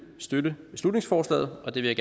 støtte beslutningsforslaget og det vil